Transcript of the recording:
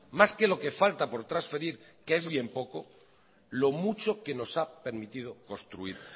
más que lo que falta por transferir que es bien poco lo mucho que nos ha permitido construir